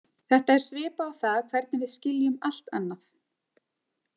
Þetta er svipað og það hvernig við skiljum allt annað.